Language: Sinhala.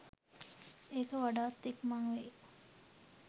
ඒක වඩාත් ඉක්මන් වෙයි.